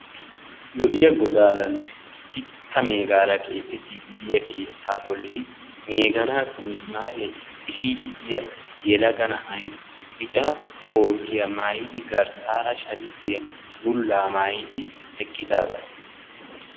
Lo"iyaa godaaranne sitta meegaara keexettiiddi diyaa keettaa bolli meeganaassi mismaariya xishiiddi diya yelaga na"ay bica kootiya maayidi garsaara shamiziya bullaa maayidi eqqidaaga.